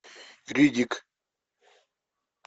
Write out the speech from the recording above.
риддик